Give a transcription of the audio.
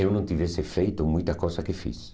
eu não tivesse feito muita coisa que fiz.